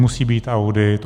Musí být audit.